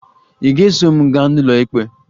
Ị ga-eso m gaa n'ụlọikpe?